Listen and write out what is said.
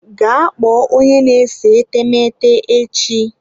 Gaa kpọọ onye na-ese etemeete echi!